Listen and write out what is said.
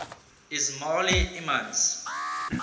ismaili imams